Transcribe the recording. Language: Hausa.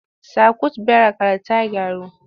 Sakwut birekar ta gyaru?